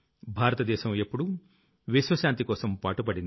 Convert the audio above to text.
భారత దేశం ఎప్పుడూ విశ్వశాంతికోసం పాటుపడింది